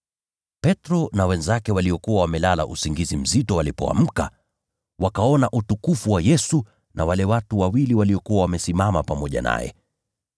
Petro na wenzake walikuwa wamelala usingizi mzito. Walipoamka, wakaona utukufu wa Yesu na wale watu wawili waliokuwa wamesimama pamoja naye.